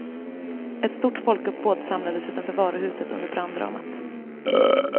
Ett stort folkuppbåd samlades utanför varuhuset under branddramat.